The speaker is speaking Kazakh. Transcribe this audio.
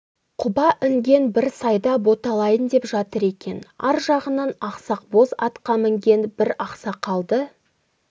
құба інген бір сайда боталайын деп жатыр екен ар жағынан ақсақ боз атқа мінген бір ақсақалды